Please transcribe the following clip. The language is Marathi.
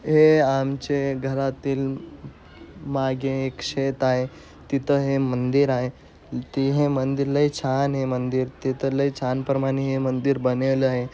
हे आमचे घरातील माघे एक शेत आहे. तिथ है मंदिर आहे. ते हे मंदिर लय छान आहे. मंदिर तिथ लय छान प्रमाणे है मंदिर बनेलय.